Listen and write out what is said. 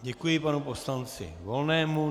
Děkuji panu poslanci Volnému.